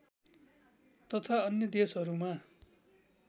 तथा अन्य देशहरूमा